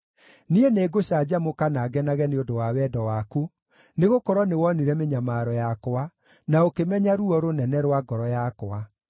Niĩ nĩngũcanjamũka na ngenage nĩ ũndũ wa wendo waku, nĩgũkorwo nĩwonire mĩnyamaro yakwa, na ũkĩmenya ruo rũnene rwa ngoro yakwa.